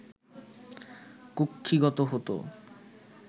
কুক্ষিগত হতো